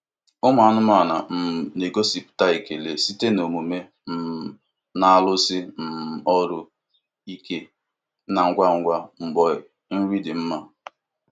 Ụmụ anụmanụ um na-egosipụta ekele site na omume um na-arụsi um ọrụ ike na ngwa ngwa mgbe nri dị mma.